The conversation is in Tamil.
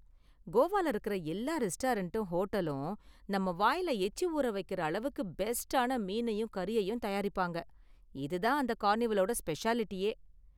கோவால இருக்குற எல்லா ரெஸ்டாரண்ட்டும் ஹோட்டலும் நம்ம வாயில எச்சி ஊற வைக்குற அளவுக்கு பெஸ்ட்டான மீனையும் கறியையும் தயாரிப்பாங்க, இது தான் அந்த கார்னிவலோட ஸ்பெஷாலிடியே.